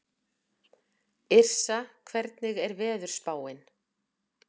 Yrsa, hvernig er veðurspáin?